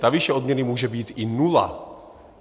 Ta výše odměny může být i nula.